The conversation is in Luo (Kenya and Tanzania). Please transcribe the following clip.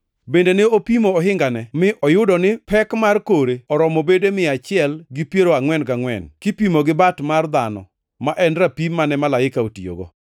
Bende ne opimo ohingane, mi oyudo ni pek mar kore oromo bede mia achiel gi piero angʼwen gangʼwen, kipimo gi bat mar dhano, ma en rapim mane malaika otiyogo.